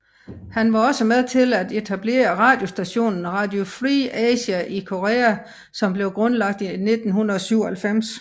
Han var også med til at etablere radiostationen Radio Free Asia i Korea som ble grundlagt i 1997